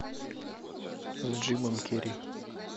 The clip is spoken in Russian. с джимом керри